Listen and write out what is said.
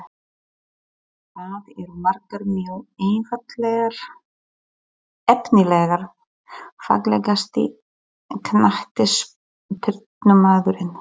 Það eru margar mjög efnilegar Fallegasti knattspyrnumaðurinn?